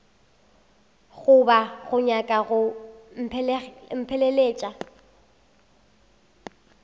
goba o nyaka go mpheleletša